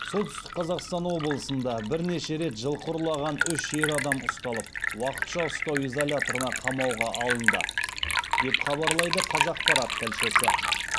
солтүстік қазақстан облысында бірнеше рет жылқы ұрлаған үш ер адам ұсталып уақытша ұстау изоляторына қамауға алынды деп хабарлайды қазақпарат тілшісі